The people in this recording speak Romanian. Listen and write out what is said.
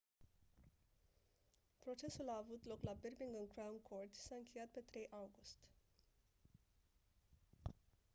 procesul a avut loc la birmingham crown court și s-a încheiat pe 3 august